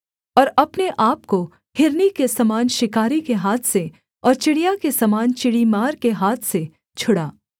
और अपने आपको हिरनी के समान शिकारी के हाथ से और चिड़िया के समान चिड़ीमार के हाथ से छुड़ा